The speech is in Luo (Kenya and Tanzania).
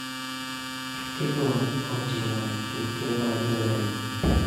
Tukego oting�o tuke mag lweny,